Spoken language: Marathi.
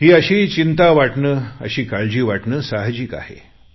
ही अशी काळजी वाटणं साहजिक आहे